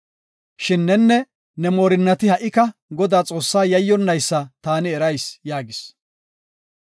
Shin nenne ne moorinnati ha77ika Godaa Xoossa yayyonnaysa taani erayis” yaagis.